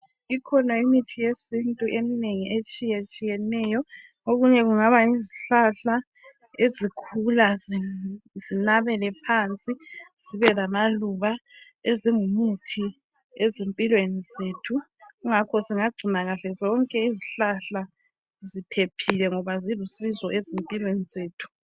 Ikhona imithi yesintu eminengi etshiyatshiyeneyo okunye kungaba yizihlahla ezikhula zinabele phansi zibe lamaluba ezingumuthi ezimpilweni zethu kungakho singagcina kahle zonke izihlahla ziphephile ngoba zilusizo empilweni zethu.